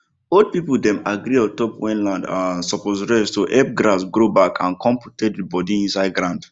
old people dem agree ontop wen land um suppose rest to hep grass grow back and con protect de bodi insid ground